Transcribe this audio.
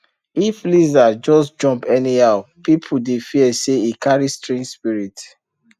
if lizard just jump anyhow people dey fear say e carry strange spirit